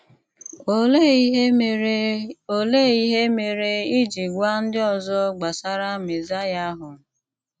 Olèé ìhè mèrè Olèé ìhè mèrè ì jì gwà ndị̀ ọzọ̀ gbasàrà Mèzáíà ahụ̀?